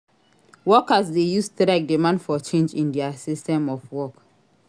Workers de use strike demand for change in their system of work